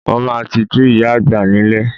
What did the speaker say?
Mo máa tijú ìyá àgbà nílé